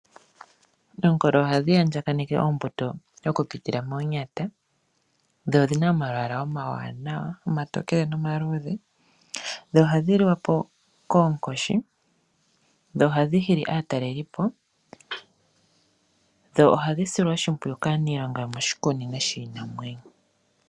Oongolo ohadhi andjakaneke oombuto okupitila moonyata dho odhi na omalwaala omawanawa, omatokele nomaluudhe. Ohadhi liwa po koonkoshi nohadhi hili aatalelipo. Ohadhi silwa oshimpwiyu kaaniilonga yomoshikunino shiinamwenyo.